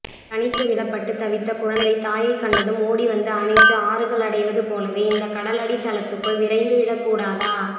தனித்து விடப்பட்டு தவித்த குழந்தை தாயைக்கண்டதும் ஓடிவந்து அணைத்து ஆறுதலடைவது போலவே இந்தக்கடலடித்தளத்துக்குள் விரைந்து விடக்கூடாதா